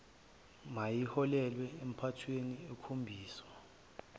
mayiholele empathweni ekhombisa